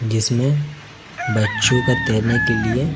जिसमें बच्चों का तैरने के लिए--